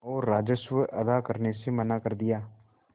और राजस्व अदा करने से मना कर दिया